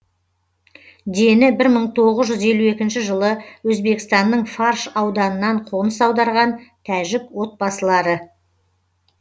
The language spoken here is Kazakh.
дені бір мың тоғыз жүз елу екінші жылы өзбекстанның фарш ауданынан қоныс аударған тәжік отбасылары